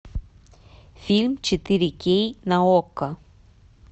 фильм четыре кей на окко